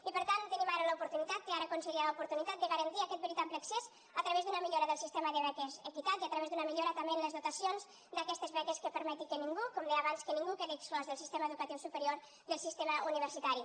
i per tant tenim ara l’oportunitat té ara conseller l’oportunitat de garantir aquest veritable accés a tra vés d’una millora del sistema de beques equitat i a través d’una millora també en les dotacions d’aquestes beques que permeti que ningú com deia abans quedi exclòs del sistema educatiu superior del sistema universitari